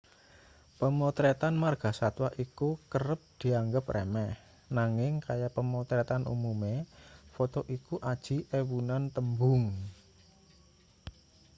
pemotretan margasatwa iku kerep dianggep remeh nanging kaya pemotretan umume foto iku aji ewunan tembung